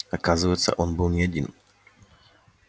оказывается он был не один